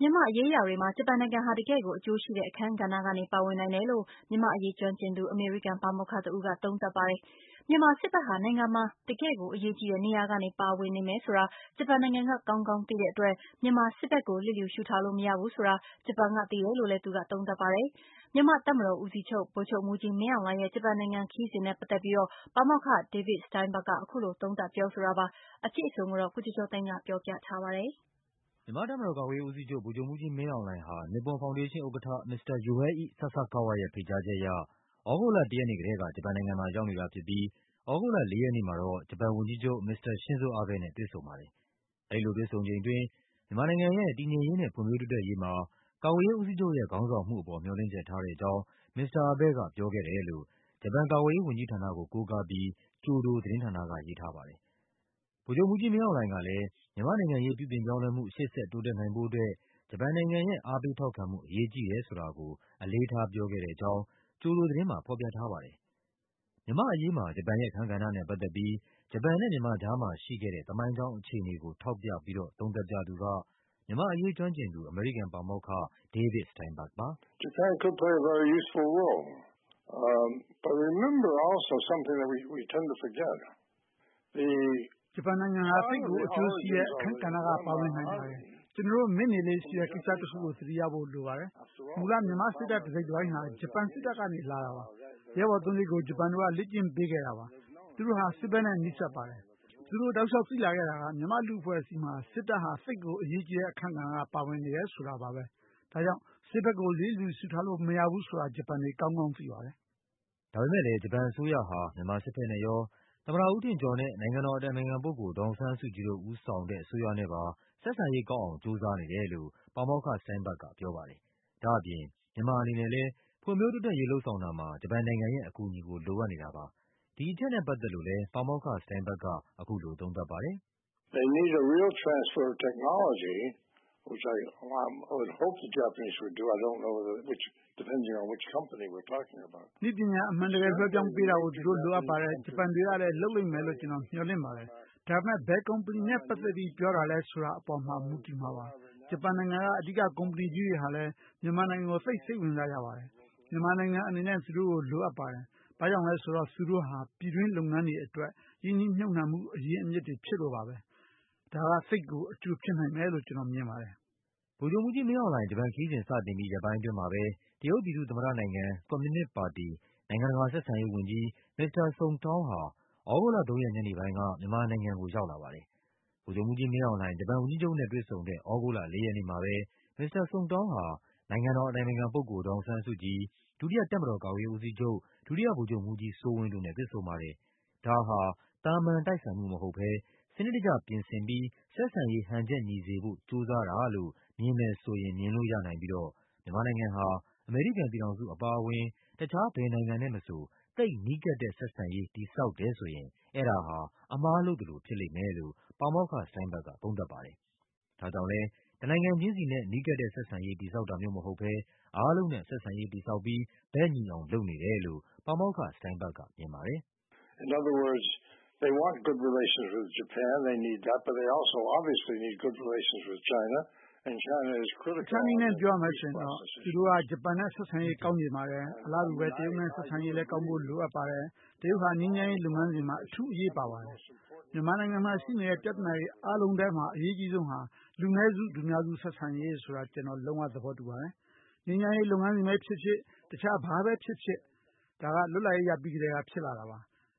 မြန်မာ့ရေးရာတွေမှာ ဂျပန်နိုင်ငံဟာ တကယ့်ကို အကျိုးရှိတဲ့အခန်းကဏ္ဍကနေ ပါဝင်နိုင်တယ်လို့ မြန်မာ့အရေး ကျွမ်းကျင်သူ အမေရိကန်ပါမောက္ခတဦးက သုံးသပ်ပါတယ်။ မြန်မာစစ်ဘက်ဟာ နိုင်ငံမှာ တကယ့်ကိုအရေးကြီးတဲ့နေရာကနေ ပါနေမယ်ဆိုတာ ဂျပန်နိုင်ငံက ကောင်းကောင်းသိတဲ့အတွက် မြန်မာစစ်ဘက်ကို လျစ်လျူရှု ထားလို့မရဘူးဆိုတာ ဂျပန်က သိတယ်လို့လဲ သူက သုံးသပ်ပါတယ်။ မြန်မာ့တပ်မတော် ကာကွယ်ရေးဦးစီးချုပ် ဗိုလ်ချုပ်မှူးကြီးမင်းအောင်လှိုင်ရဲ့ ဂျပန်နိုင်ငံခရီးစဉ်နဲ့ပတ်သက် ပြီးတော့ ပါမောက္ခ David Steinberg က အခုလို သုံးသပ်ပြောဆိုတာပါ။ အပြည့်အစုံကို ကိုကျော်ကျော်သိန်းက ပြောပြပါမယ်။ မြန်မာ့တပ်မတော် ကာကွယ်ရေးဦးစီးချုပ် ဗိုလ်ချုပ်မှူးကြီးမင်းအောင်လှိုင်ဟာ Nippon Foundation ဥက္ကဌ မစ္စတာ Yohei Sasakawa ရဲ့ဖိတ်ကြားချက်အရ သြဂုတ်လ ၁ ရက်နေ့ကတည်းက ဂျပန်နိုင်ငံမှာရောက်နေတာဖြစ်ပြီး သြဂုတ်လ ၄ ရက်နေ့မှာ တော့ ဂျပန်ဝန်ကြီးချုပ် မစ္စတာ Shinzo Abe နဲ့ တွေ့ဆုံပါတယ်။ အဲဒီလိုတွေ့ဆုံချိန်အတွင်း မြန်မာနိုင်ငံရဲ့ တည်ငြိမ်ရေးနဲ့ ဖွံ့ဖြိုး တိုးတက်ရေးမှာ ကာကွယ်ရေးဦးစီးချုပ်ရဲ့ ခေါင်းဆောင်မှုအပေါ် မျှော်လင့်ချက်ထားတဲ့အကြောင်း မစ္စတာအဘဲ့က ပြောခဲ့တယ်လို့ ဂျပန်ကာကွယ်ရေးဝန်ကြီးဌာနကို Kyodo သတင်းဌာနက ရေးထားပါတယ်။ ဗိုလ်ချုပ်မှူးကြီးမင်းအောင်လှိုှုင်က မြန်မာ့ နိုင်ငံရေးပြုပြင်ပြောင်းလဲမှု ရှေ့ဆက်တိုးတက်နိုင်ဖို့အတွက် ဂျပန်နိုင်ငံရဲ့ အားပေး ထောက်ခံမှု အရေးကြီးတယ်ဆိုတာကို အလေးထားပြောခဲ့တယ်လို့လဲ Kyodo သတင်းမှာ ဖော်ပြထားပါတယ်။ မြန်မာ့အရေးမှာ ဂျပန်ရဲ့အခန်းကဏ္ဍနဲ့ပတ်သက်ပြီး ဂျပန်နဲ့မြန်မာကြားမှာရှိခဲ့တဲ့ သမိုင်းကြောင်းအခြေအနေကို ထောက်ပြပြီး တော့ သုံးသပ်ပြသူက မြန်မာ့အရေးကျွမ်းကျင်သူ အမေရိကန်ပါမောက္ခ David Steinberg ပါ။ “ဂျပန်နိုင်ငံအနေနဲ့ သိပ်ကိုအကျိုးရှိတဲ့ အခန်းကဏ္ဍကနေ ပါဝင်နိုင်ပါတယ်။ ကျနော်တို့ မေ့နေလေ့ရှိတဲ့ ကိစ္စတခုကို သတိရဖို့လိုပါတယ်။ မူလ မြန်မာစစ်တပ် တစိတ်တပိုင်းဟာ ဂျပန်စစ်တပ်ကနေ လာတာပါ။ ရဲဘော်သုံးကျိပ်ကို ဂျပန်တို့က လေ့ကျင့်ပေးခဲ့တာပါ။ သူတို့ဟာ စစ်ဘက်နဲ့ နီးစပ်ပါတယ်။ သူတို့ တောက်လျှောက်သိလာခဲ့တာက မြန်မာ့လူ့အဖွဲ့အစည်းမှာ စစ်ဘက်ဟာ သိပ်ကိုအရေးကြီးတဲ့အခန်းကဏ္ဍကနေ ပါနေမယ်ဆိုတာပါပဲ။ ဒါကြောင့် စစ်ဘက်ကို လျစ်လျူရှုလို့ မရဘူးဆိုတာ ဂျပန်တွေက ကောင်းကောင်းသိပါတယ်။” ဒါပေမဲ့လဲ ဂျပန်အစိုးရဟာ မြန်မာစစ်ဘက်နဲ့ရော၊ သမ္မတဦးထင်ကျော်နဲ့ နိုင်ငံတော်အတိုင်ပင်ခံပုဂ္ဂိုလ် ဒေါ်အောင်ဆန်းစုကြည်တို့ ဦးဆောင်တဲ့ အစိုးရနဲ့ပါ ဆက်ဆံရေးကောင်းအောင် ကြိုးစားနေတယ်လို့ ပါမောက္ခ Steingberg ကပြောပါတယ်။ ဒါ့အပြင် မြန်မာ အနေနဲ့လဲ ဖွံ့ဖြိုးတိုးတက်ရေး လုပ်ဆောင်တာမှာ ဂျပန်နိုင်ငံရဲ့ အကူအညီကို လိုအပ်နေတာပါ။ ဒီအချက်နဲ့ပတ်သက်လို့လဲ ပါမောက္ခ Steinberg က အခုလိုသုံးသပ်ပါတယ်။ “နည်းပညာ အမှန်တကယ် လွှဲပြောင်းပေးတာကို သူတို့ လိုအပ်ပါတယ်။ ဂျပန်တွေကလဲ လုပ်လိမ့်မယ်လို့ ကျနော် မျှော်လင့်ပါတယ်။ ဒါပေမဲ့ ဘယ်ကုမ္ပဏီနဲ့ပတ်သက်ပြီး ပြောတာလဲဆိုတာပေါ်မှာတော့ မူတည်မှာပါ။ ဂျပန်နိုင်ငံက အဓိက ကုမ္ပဏီကြီးတွေဟာလဲ မြန်မာနိုင်ငံကို သိပ် စိတ်ဝင်စားကြပါတယ်။ မြန်မာနိုင်ငံအနေနဲ့ သူတို့ကို လိုအပ်ပါတယ်။ ဘာ့ကြောင့်လဲ ဆိုတော့ သူတို့ဟာ ပြည်တွင်းလုပ်ငန်းတွေအတွက် ရင်းနှီးမြှုပ်နှံမှု အရင်းအမြစ်တွေဖြစ်လို့ပါ။ ဒါက သိပ်ကို အကျိုးဖြစ်မယ်လို့ ကျနော်ထင်ပါတယ်။” ဗိုလ်ချုပ်မှူးကြီးမင်းအောင်လှိုင် ဂျပန်ခရီးစဉ်စတင်ပြီး ရက်ပိုင်းအတွင်းမှာပဲ တရုတ်ပြည်သူ့သမ္မတနိုင်ငံ၊ ကွန်မြူနစ်ပါတီ၊ နိုင်ငံတကာဆက်ဆံရေးဝန်ကြီး မစ္စတာ Song Tao ဟာ သြဂုတ်လ ၃ ရက် ညနေပိုင်းက မြန်မာနိုင်ငံကို ရောက်လာပါတယ်။ ဗိုလ်ချုပ်မှူးကြီးမင်းအောင်လှိုင် ဂျပန်ဝန်ကြီးချုပ်နဲ့ တွေ့ဆုံတဲ့ သြဂုတ်လ ၄ ရက်နေ့မှာပဲ မစ္စတာ Song Tao ဟာ နိုင်ငံတော် အတိုင်ပင်ခံပုဂ္ဂိုလ် ဒေါ်အောင်ဆန်းစုကြည်၊ ဒုတိယတပ်မတော်ကာကွယ်ရေးဦးစီးချုပ် ဒုတိယဗိုလ်ချုပ်မှူးကြီးစိုးဝင်းတို့နဲ့ တွေ့ဆုံ ပါတယ်။ ဒါဟာ သာမန်တိုက်ဆိုင်မှုမဟုတ်ဘဲ စနစ်တကျပြင်ဆင်ပြီး ဆက်ဆံရေးဟန်ချက်ညီစေဖို့ ကြိုးစားတာလို့ မြင်မယ်ဆိုရင် မြင်လို့ရနိုင်ပြီးတော့ မြန်မာနိုင်ငံဟာ အမေရိကန်ပြည်ထောင်စု အပါအဝင် တခြားဘယ်နိုင်ငံနဲ့မဆို သိပ်နီးကပ်တဲ့ဆက်ဆံရေး တည်ဆောက်တယ်ဆိုရင် အဲဒါဟာ အမှားလုပ်သလိုဖြစ်မယ်လို့ ပါမောက္ခ Steinberg က သုံးသပ်ပါတယ်။ ဒါကြောင့်လဲ တနိုင်ငံ ချင်းစီနဲ့ နီးကပ်တဲ့ဆက်ဆံရေး တည်ဆောက်တာမျိုးမဟုတ်ဘဲ အားလုံးနဲ့ ဆက်ဆံရေးတည်ဆောက်ပြီး ဘက်ညီအောင် လုပ်နေ တယ်လို့ ပါမောက္ခ Steinberg ကမြင်ပါတယ်။ “တခြားနည်းနဲ့ပြောရမယ်ဆိုရင်တော့ သူတို့က ဂျပန်နဲ့ဆက်ဆံရေး ကောင်းချင်ပါတယ်၊ အလားတူပဲ တရုတ်နဲ့ ဆက်ဆံ ရေး ကောင်းဖို့လဲ လိုအပ်ပါတယ်။ တရုတ်ဟာ ငြိမ်းချမ်းရေး လုပ်ငန်းစဉ်မှာ အထူး အရေးပါပါတယ်။ မြန်မာနိုင်ငံမှာရှိနေတဲ့ ပြဿနာတွေအားလုံးထဲမှာ အရေးအကြီးဆုံးက လူနည်းစု၊ လူများစု ဆက်ဆံရေးဆိုတာ ကျနော် လုံးဝသဘောတူပါတယ်။ ငြိမ်းချမ်းရေး လုပ်ငန်းစဉ်ပဲဖြစ်ဖြစ်၊ တခြားဘာပဲဖြစ်ဖြစ်ပါ။ ဒါက လွတ်လပ်ရေးရပြီးကတည်းကပါပဲ။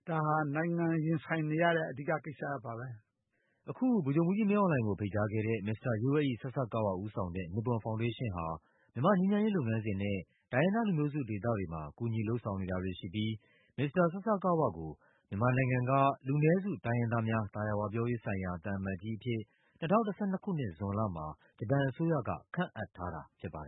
ဒါဟာ နိုင်ငံရင်ဆိုင်နေရတဲ့ အဓိကကိစ္စရပ်ပါပဲ။” အခု ဗိုလ်ချုပ်မှူးကြီးမင်းအောင်လှိုင်ကို ဖိတ်ကြားခဲ့တဲ့ မစ္စတာ Yohei Sasakawa ဦးဆောင်တဲ့ Nippon ဖောင်ဒေးရှင်းဟာ မြန်မာ့ ငြိမ်းချမ်းရေးလုပ်ငန်းစဉ်နဲ့ တိုင်းရင်းသား လူမျိုးစုဒေသတွေမှာ ကူညီလုပ်ဆောင်နေတာတွေရှိပြီး မစ္စတာ Sasakawa ကို မြန်မာ နိုင်ငံက လူနည်းစု တိုင်းရင်းသားများ သာယာဝပြောရေးဆိုင်ရာ သံအမတ်ကြီးအဖြစ် ၂၀၁၂ ခုနှစ်၊ ဇွန်လမှာ ဂျပန်အစိုးရက ခန့်အပ်ထားတာဖြစ်ပါတယ်